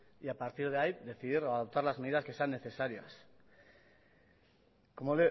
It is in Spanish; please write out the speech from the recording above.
y a partir de ahí decidir o adoptar las medidas que sean necesarias como